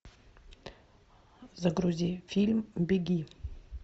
загрузи фильм беги